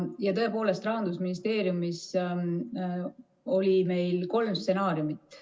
Ja tõepoolest, Rahandusministeeriumis oli meil kolm stsenaariumit.